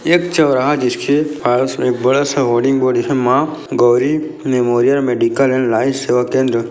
एक चौराहा जिसके पास में एक बड़ा सा hoarding board Maa Gauri memorial medical and life सेवा केंद्र --